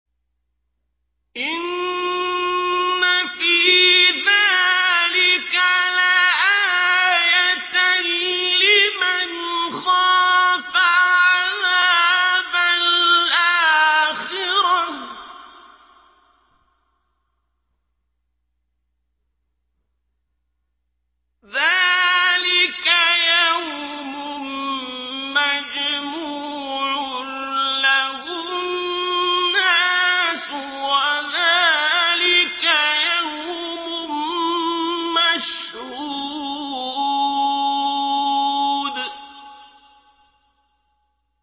إِنَّ فِي ذَٰلِكَ لَآيَةً لِّمَنْ خَافَ عَذَابَ الْآخِرَةِ ۚ ذَٰلِكَ يَوْمٌ مَّجْمُوعٌ لَّهُ النَّاسُ وَذَٰلِكَ يَوْمٌ مَّشْهُودٌ